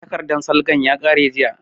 Takardan salgan ya ƙare jiya